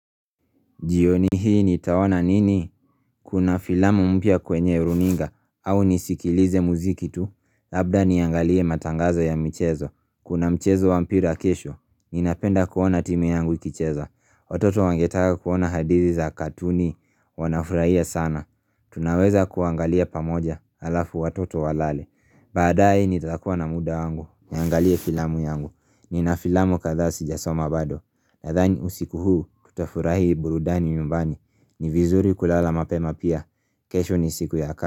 Jioni hii nitaona nini? Kuna filamu mpya kwenye runinga, au nisikilize muziki tu, labda niangalie matangazo ya michezo, kuna mchezo wa mpira kesho, ninapenda kuona timu yangu ikicheza, watoto wangetaka kuona hadithi za katuni, wanafurahia sana, tunaweza kuangalia pamoja, alafu watoto walale, baadae nitakuwa na muda wangu, niangalie filamu yangu, nina filamu kadhaa sijasoma bado, Nadhani usiku huu tutafurahi burudani nyumbani, ni vizuri kulala mapema pia kesho ni siku ya ka.